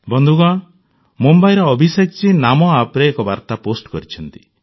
ବନ୍ଧୁଗଣ ମୁମ୍ବାଇର ଅଭିଷେକଜୀ NamoAppରେ ଏକ ବାର୍ତ୍ତା ପୋଷ୍ଟ କରିଛନ୍ତି